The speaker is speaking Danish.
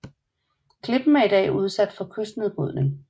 Klippen er i dag udsat for kystnedbrydning